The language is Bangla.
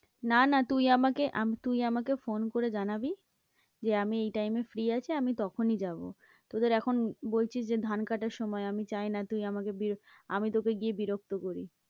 না না, তুই আমাকে তুই আমাকে phone করে জানাবি যে আমি এই time এ free আছি, আমি তখনই যাবো, তোদের এখন বলছিস যে ধান কাটার সময় আমি চাই না তুই আমাকে আমি তোকে গিয়ে বিরক্ত করি।